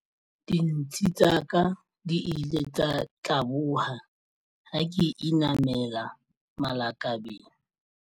Dintshi tsa ka di ile tsa tlaboha ha ke inamela malakabeng.